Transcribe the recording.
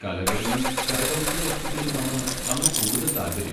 കലകളിലും കരകൗശലവസ്തുക്കളിലുമാണ് അവന് കൂടുതൽ താൽപ്പര്യം.